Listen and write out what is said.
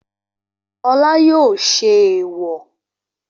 Olá yóò ṣe ẹ̀ẹ̀wọ̀